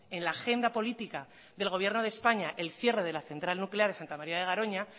en la agenda política del gobierno de españa el cierre de la central nuclear de santa maría de garoña